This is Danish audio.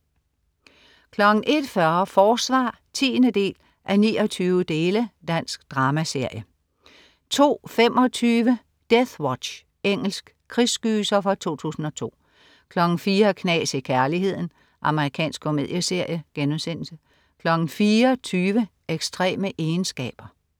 01.40 Forsvar 10:29. Dansk dramaserie 02.25 Deathwatch. Engelsk krigsgyser fra 2002 04.00 Knas i kærligheden. Amerikansk komedieserie* 04.20 Ekstreme egenskaber